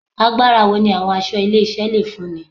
Agbára wo ni àwọn aṣọ ilé-iṣẹ́ le fúnni